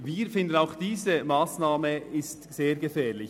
Wir finden auch diese Massnahme sehr gefährlich.